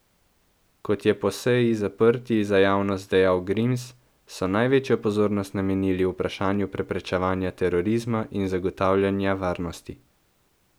Kot je po seji zaprti za javnost dejal Grims, so največjo pozornost namenili vprašanju preprečevanja terorizma in zagotavljanja varnosti.